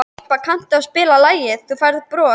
Irpa, kanntu að spila lagið „Þú Færð Bros“?